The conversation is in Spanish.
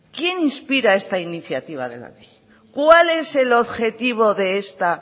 quién inspira esta iniciativa de la ley cuál es el objetivo de esta